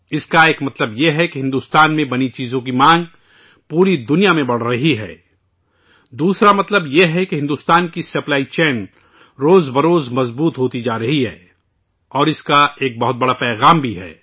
اس کا ایک مطلب یہ ہے کہ بھارت میں بنی چیزوں کی مانگ پوری دنیا میں بڑھ رہی ہے، دوسرا مطلب یہ ہے کہ بھارت کی سپلائی چین روز بروز مضبوط ہوتی جارہی ہے اور اس کا ایک بہت بڑا پیغام بھی ہے